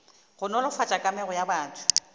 go nolofatša kamego ya batho